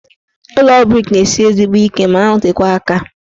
Ụlọ brik na-esi ezigbo ike ma na-anọtekwa aka.